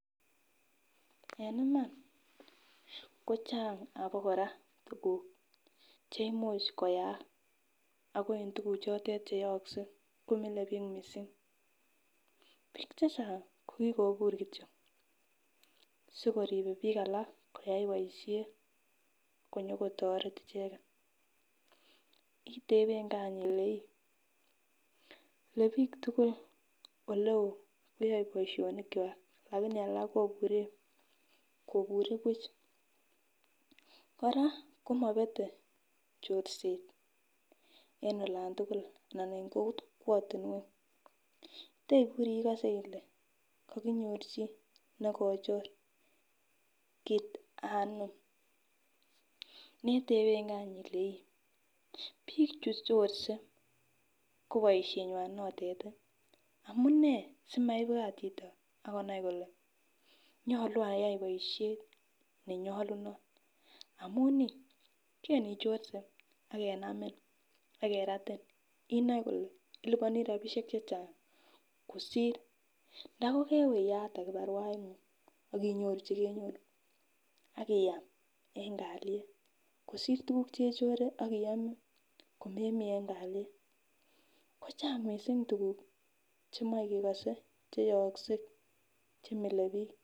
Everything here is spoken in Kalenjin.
En iman kochang abakoraa tukuk cheimuch koyaak ako en tukuk chotet cheyokse komile bik missing. Bik chechang ko kokobur kityok sikoribe bik alak koyai boishet konyo kotoret icheket, itepengee any ilee ii Le bik tukuk oleo koyoe boishoni kwak lakini alak kobure kobure buch. Koraa komobete chorset en olan tukul anan en kokwotunwek , teiburii ikose Ile kokinyor chii nekochor kit anom netebengee any Ile Ii bik chu chorset nko boishenywan notet tii amunee simaibwat chito kole nyolu ayai boishet nenyolunot amun nii kan ichorse ak kenamin ak keratin inoe kole iliponii rabishek chechang kosir. Ndokokewe iyaate kibarua inguny akinyoru chekenyoru akiam en kalyet kosir tukuk chechore ak iome komemii en kalyet ko chang missing tukuk chemoi Kekose cheyoose chemile bik.